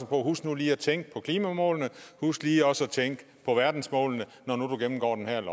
på husk nu lige at tænke på klimåmålene husk lige også at tænke på verdensmålene når nu du gennemgår det her